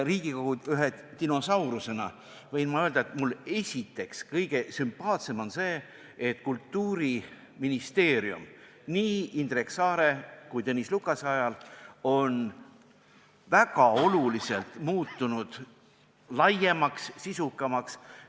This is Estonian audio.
Riigikogu ühe dinosaurusena võin ma öelda, et mulle on kõige sümpaatsem see, et Kultuuriministeerium on nii Indrek Saare kui ka Tõnis Lukase ajal muutunud märksa n-ö laiemaks, sisukamaks.